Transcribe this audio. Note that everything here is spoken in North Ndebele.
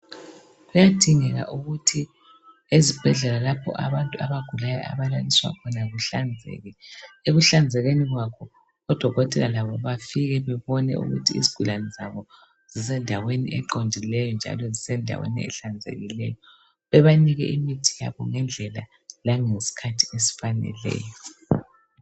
Kuyadingeka ukuthi ezibhedlela lapho abantu abagulayo abalaliswa khona kuhlanzeke , ekuhlanzekeni kwakho ,odokotela labo bafike babone ukuthi izigulani zabo zisendaweni eqondileyo njalo zisendaweni ehlanzekileyo .Bebanike imithi yabo ngendlela langeskhathi esifaneleyo.